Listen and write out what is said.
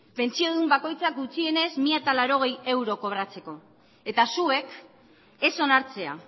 pentsio duin bakoitzak gutxienez mila laurogei euro kobratzeko eta zuek ez onartzea